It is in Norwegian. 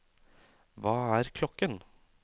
hva er klokken